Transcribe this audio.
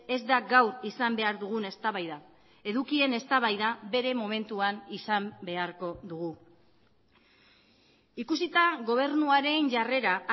ez da gaur izan behar dugun eztabaida edukien eztabaida bere momentuan izan beharko dugu ikusita gobernuaren jarrera